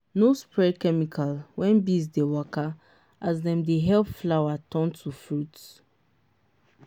no spray chemical when bees dey waka as dem dey help flower turn to fruit.